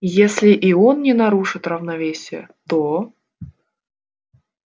если и он не нарушит равновесия то